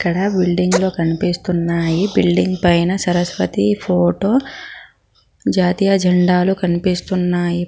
ఇక్కడ బిల్డింగ్ లో కనిపిస్తున్నాయి బిల్డింగ్ పైన సరస్వతి ఫోటో జాతీయ జెండాలు కనిపిస్తున్నాయి.